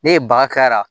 Ne ye baga k'ala